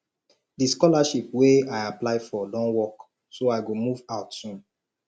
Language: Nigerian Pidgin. the scholarship wey i apply for don work so i go move out soon